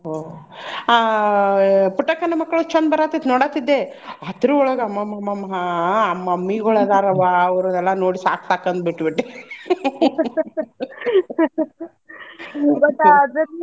ಆಹ್ ಆ ಪುಟ್ಟಕ್ಕನ ಮಕ್ಕಳು ಚಂದ ಬರಾತೈತಿ ನೋಡಾತಿದ್ದೆ ಅದ್ರೊಳಗ ಅಮ್ಮಮ್ಮಮ್ಮಮ್ಮಾ ಆ mummy ಗೊಳ ಅದಾರವ್ವಾ ಅವ್ರು ಎಲ್ಲಾ ನೋಡಿ ಸಾಕ್ ಸಾಕ್ ಅಂದ್ ಬಿಟ್ಟ್ ಬಿಟ್ಟೆ ಗೊತ್ತಾ ಅದನ್ನು.